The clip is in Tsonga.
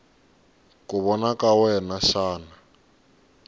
ku vona ka wena xana